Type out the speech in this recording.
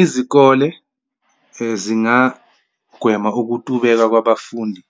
Izikole, zingagweme ukutubeka kwabafundi